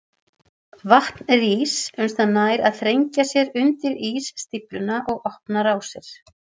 Vatn rís uns það nær að þrengja sér undir ísstífluna og opna rásir.